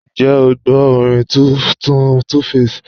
Ǹjẹ́ o gbọ orin tuntun 2Baba?